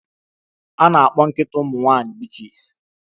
A na-akpọ nkịta ụmụ nwanyị bitches